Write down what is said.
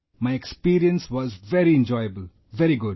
My experience was very enjoyable, very good